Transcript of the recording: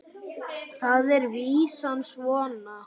Þar er vísan svona